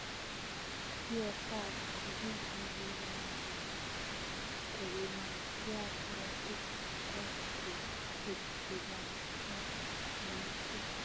Gfr koo kii negibaishe kepiman tyaa korotik che toss ke chukchukan eng minutit